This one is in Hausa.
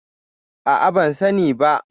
A'a, ban sani ba.